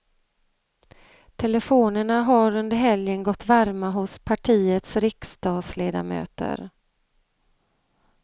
Telefonerna har under helgen gått varma hos partiets riksdagsledamöter.